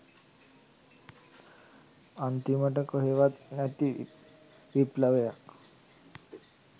අන්තිමට කොහේවත් නැති විප්ලවයක්